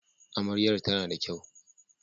Amaryar tana da kyau